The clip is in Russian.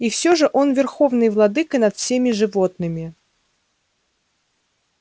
и всё же он верховный владыка над всеми животными